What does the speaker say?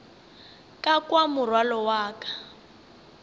ka kwa morwalo wa ka